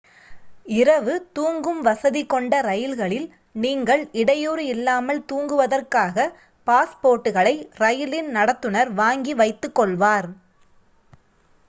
இரவு தூங்கும் வசதி கொண்ட ரயில்களில் நீங்கள் இடையூறு இல்லாமல் தூங்குவதற்காக பாஸ்போர்ட்களை ரயிலின் நடத்துனர் வாங்கி வைத்துக் கொள்வார்